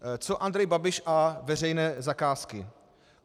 Co Andrej Babiš a veřejné zakázky?